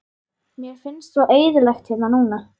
Mér finnst svo eyðilegt hérna núna.